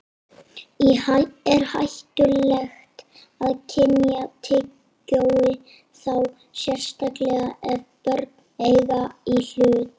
Er hættulegt að kyngja tyggjói, þá sérstaklega ef börn eiga í hlut?